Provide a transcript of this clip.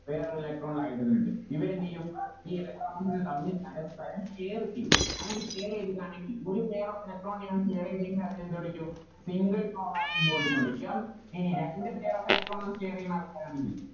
വേറൊര് Electro ൽ hydrogen ഇണ്ട് ഇവരെന്തേയും ഈ Electron കൾ തമ്മിൽ പരസ്പ്പരം Share ചെയ്യും അങ്ങനെ Share ചെയ്തതാണെങ്കിൽ ഒരു Pair of electron നെയാണ് Share ചെയ്തതെങ്കിൽ അതിനെ എന്തുവിളിക്കും Single covalent bond ന്ന് വിളിക്കും ഇനി രണ്ട് Pair of electron നെ Share ചെയ്യുന്ന ആൾക്കാരാണെങ്കിൽ